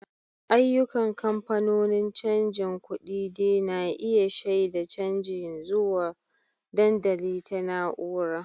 Ayyukan kamfanonin canjin kuɗi de na iya shaida canji zuwa dandamali ta na'ura.